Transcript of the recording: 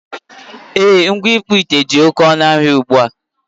E, ngwa ịkpụ ite dị oké ọnụ ahịa ugbua.